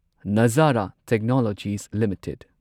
ꯅꯓꯥꯔꯥ technologies limited